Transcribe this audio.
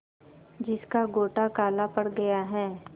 जिसका गोटा काला पड़ गया है